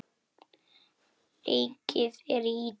Leikið er í Ítalíu.